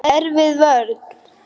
Erfið vörn.